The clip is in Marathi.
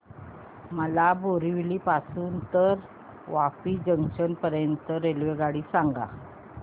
मला बोरिवली पासून तर वापी जंक्शन पर्यंत ची रेल्वेगाडी सांगा